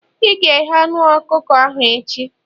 ị ga-eghe anu ọkụkọ ahụ echi!